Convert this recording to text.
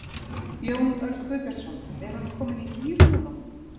Jón Örn Guðbjartsson: Er hann kominn í gír núna?